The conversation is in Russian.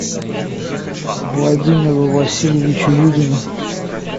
владимиру васильевичу юдину